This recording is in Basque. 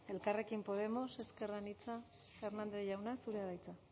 elkarrekin podemos ezker anitza hernández jauna zurea da hitza